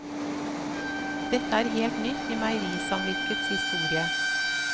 Dette er helt nytt i meierisamvirkets historie.